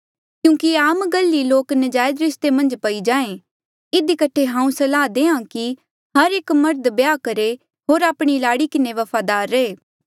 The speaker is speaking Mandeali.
क्यूंकि ये आम गल ई लोक नजायज रिस्ते मन्झ पई जाए इधी कठे हांऊँ सलाह देआ कि हर एक मर्ध ब्याह करहे होर आपणी लाड़ी किन्हें वफादार रहे